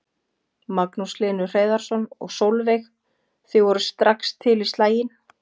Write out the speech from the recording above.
Magnús Hlynur Hreiðarsson: Og Sólveig, þið voruð strax til í slaginn?